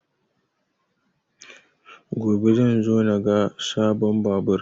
Gobe zan zo na ga sabon babur